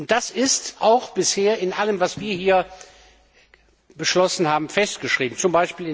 Das ist auch bisher in allem, was wir hier beschlossen haben, festgeschrieben, z.